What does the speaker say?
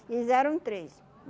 Eles eram em três.